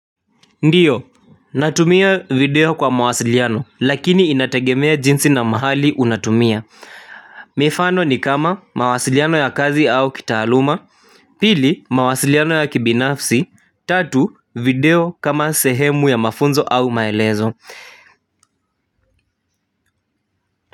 Ndiyo natumia video kwa mawasiliano lakini inategemea jinsi na mahali unatumia mifano ni kama mawasiliano ya kazi au kitaaluma pili mawasiliano ya kibinafsi tatu video kama sehemu ya mafunzo au maelezo.